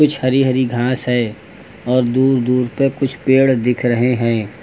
कुछ हरी हरी घास है और दूर दूर पे कुछ पेड़ दिख रहा है।